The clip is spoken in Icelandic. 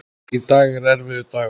Í dag er erfiður dagur.